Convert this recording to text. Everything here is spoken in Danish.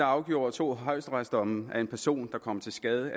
afgjorde to højesteretsdomme at en person der kommer til skade